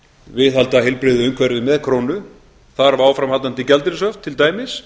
viðhalda heilbrigðu umhverfi með krónu þarf áframhaldandi gjaldeyrishöft til dæmis